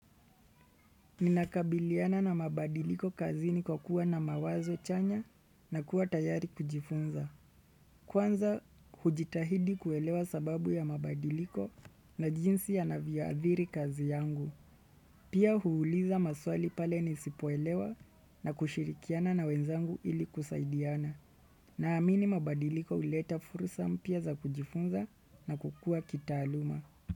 Ninakabiliana na mabadiliko kazini kwa kuwa na mawazo chanya na kuwa tayari kujifunza. Kwanza ujitahidi kuelewa sababu ya mabadiliko na jinsi yanavyoadhiri kazi yangu. Pia huuliza maswali pale nisipoelewa na kushirikiana na wenzangu ili kusaidiana. Naamini mabadiliko uleta furusa mpya za kujifunza na kukua kitaaluma.